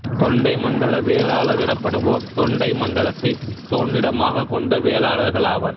தொண்டைமண்டல வேளாளர் எனப்படுவோர் தொண்டைமண்டலத்தைத் தோன்றிடமாகக் கொண்ட வேளாளர்கள் ஆவர்